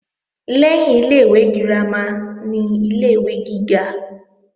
Lẹ́yìn ilé-ìwé girama ni ilé-ìwé gíga